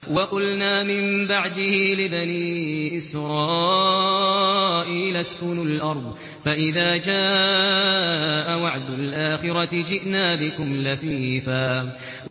وَقُلْنَا مِن بَعْدِهِ لِبَنِي إِسْرَائِيلَ اسْكُنُوا الْأَرْضَ فَإِذَا جَاءَ وَعْدُ الْآخِرَةِ جِئْنَا بِكُمْ لَفِيفًا